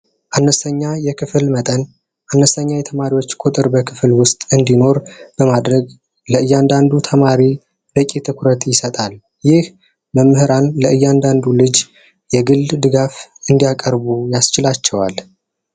አምስተኛ የክፍል መጠን አነስተኛ የተማሪዎች ቁጥር በክፍል ውስጥ እንዲኖር በማድረግ እያንዳንዱ ተማሪ ደቂቃ ይሰጣል ይህ መምህራን ለእያንዳንዱ ልጅ የግል ድጋፍ እንዲያቀርቡ ያስችላቸዋል